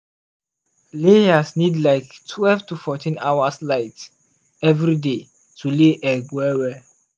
layers need like twelve to fourteen hours light every day to lay egg well well.